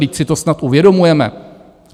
Vždyť si to snad uvědomujeme.